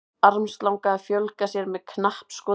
armslanga að fjölga sér með knappskoti